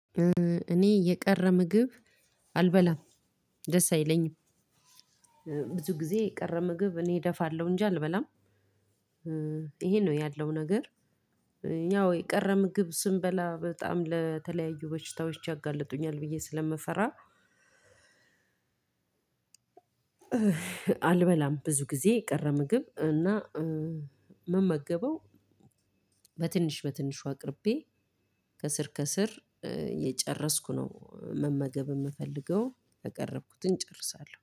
እኔ የቀረ ምግብ አልበላም ደስ አይለኝም። ብዙ ጊዜ የቀረ ምግብ እኔ እደፋለሁ እንጂ አልበላም። ይሄን ነው ያለው ነገር። ያው የቀረ ምግብ ስንበላ በጣም ለተለያዩ በሽታዎች ያጋልጡኛል ብዬ ስለምፈራ አልበላም ብዙ ጊዜ ቀረ ምግብ እና ምመገበው በትንሽ በትንሹ አቅርቤ ከስር ከስር እየጨረስኩ ነው መመገብ የምፈልገው። ያቀረብኩትን ጨርሳለው።